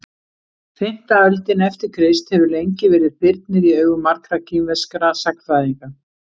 Fimmta öldin eftir Krist hefur lengi verið þyrnir í augum margra kínverskra sagnfræðinga.